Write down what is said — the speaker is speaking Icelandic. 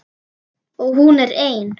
Og hún er ein.